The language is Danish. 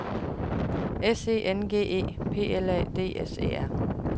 S E N G E P L A D S E R